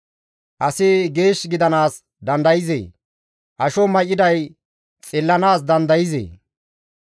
«Asi geesh gidanaas dandayzee? Asho may7iday xillanaas dandayzee?